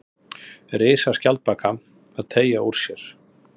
Risaskjaldbaka að teygja úr sér.